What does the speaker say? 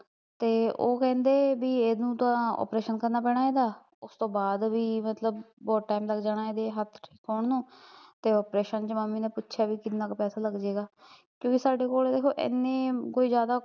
ਤੇ ਉਹ ਕਹਿੰਦੇ ਵੀ ਏਹਨੂੰ ਤਾਂ operation ਕਰਨਾ ਪੈਣਾ ਏਹਦਾ, ਓਸਤੋਂ ਬਾਦ ਵੀ ਮਤਲਬ ਬਹੁਤ ਟੈਮ ਲੱਗ ਜਾਣਾ ਇਹਦੇ ਹੱਥ ਠੀਕ ਹੋਣ ਨੂੰ ਤੇ operation ਚ ਮੰਮੀ ਨੇ ਪੁੱਛਿਆ ਕਿੰਨਾ ਕੁ ਪੈਸਾ ਲਗਜੇਗਾ ਕਿਓਕਿ ਸਾਡੇ ਕੋਲ ਦੇਖੋ ਏਨੇ ਕੋਈ ਜ਼ਿਆਦਾ